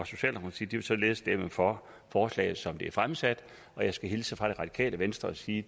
socialdemokratiet vil således stemme for forslaget som det er fremsat og jeg skal hilse fra det radikale venstre og sige